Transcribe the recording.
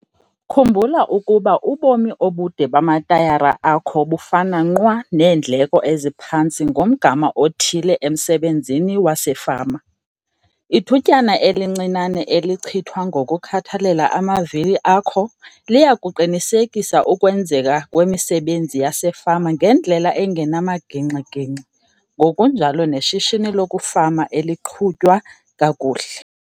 Khumbula ukuba ubomi obude bamatayara akho bufana nqwa neendleko eziphantsi ngomgama othile emsebenzini wasefama. Ithutyana elincinane elichithwa ngokukhathalela amavili akho liya kuqinisekisa ukwenzeka kwemisebenzi yasefama ngendlela engenamagingxi-gingxi ngokunjalo neshishini lokufama eliqhutywa kakuhle.